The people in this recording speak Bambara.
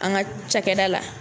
An ka cakɛda la